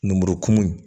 Numu kumu